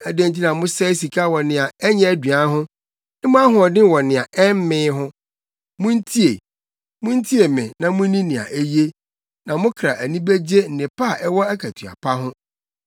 Adɛn nti na mosɛe sika wɔ nea ɛnyɛ aduan ho ne mo ahoɔden wɔ nea ɛmmee ho? Muntie, muntie me na munni nea eye, na mo kra ani begye nnepa a ɛwɔ akatua pa ho.